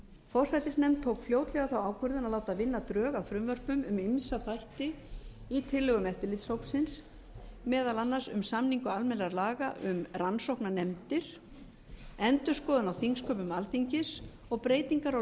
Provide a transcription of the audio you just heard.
forsætisnefnd tók fljótlega þá ákvörðun að láta vinna drög að frumvörpum um ýmsa þætti í tillögum eftirlitshópsins meðal annars um samningu almennra laga um rannsóknarnefndir endurskoðun á þingsköpum alþingis og breytingar á